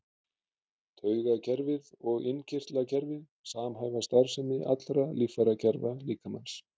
Taugakerfið og innkirtlakerfið samhæfa starfsemi allra líffærakerfa líkamans.